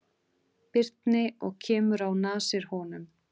Birni og kemur á nasir honum.